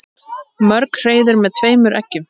Mörg hreiður með tveimur eggjum.